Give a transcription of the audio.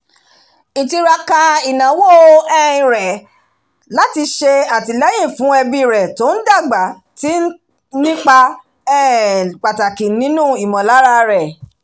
ìtiraka ìnáwó um rẹ̀ láti ṣe atilẹyin fún ẹbí rẹ̀ tó ń dàgbà ti ń ipa um pàtàkì nínú ìmọ̀lára rẹ̀